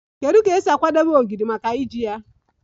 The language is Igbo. Kedu ka e si akwadebe ogiri maka iji ya?